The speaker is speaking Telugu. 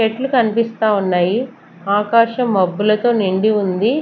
మెట్లు కనిపిస్తా ఉన్నాయి ఆకాశం మబ్బులతో నిండి ఉంది.